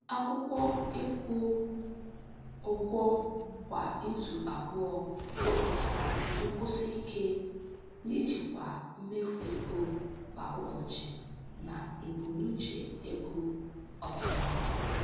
Akwụkwọ ịkwụ ụgwọ kwa izu abụọ wepụtara nkwụsị ike n'ijikwa mmefu ego kwa ụbọchị na mbunuche ego ọdịnihu.